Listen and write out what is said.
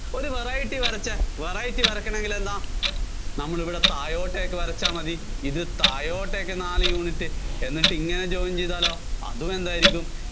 ഒരു variety വരച്ചേ variety വരയ്ക്കണമെങ്കില്‍ എന്താ നമ്മളിവിടെ താഴോട്ടേക്ക് വരച്ചാല്‍ മതി. ഇത് താഴോട്ടേക്ക് നാല് unit. എന്നിട്ടിങ്ങനെ join ചെയ്താലോ അതും എന്തായിരിക്കും